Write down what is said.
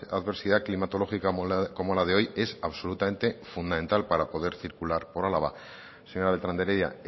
adversidad climatológica como la de hoy es absolutamente fundamental para poder circular por álava señora beltrán de heredia